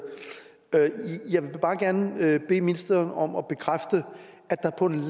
jeg vil bare gerne bede ministeren om at bekræfte at der på en